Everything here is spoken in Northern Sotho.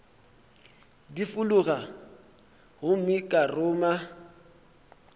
di fulago gomme ka ruma